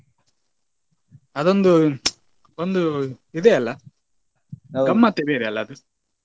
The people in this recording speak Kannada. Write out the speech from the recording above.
ಅದೊಂದು ಒಂದು ಇದೆಯಲ್ಲಾ ಗಮ್ಮತ್ತೆ ಬೇರೆ ಅಲ್ಲ ಅದು.